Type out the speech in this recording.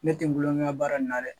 Ne te n kulonkɛ n na baara in na dɛ